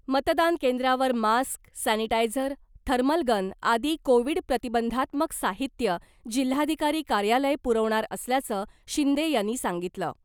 मतदान केंद्रावर mask , sanitiser , thermal gun आदी कोविड प्रतिबंधात्मक साहित्य जिल्हाधिकारी कार्यालय पुरवणार असल्याचं शिंदे यांनी सांगितलं .